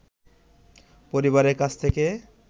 পরিবারের কাছ থেকে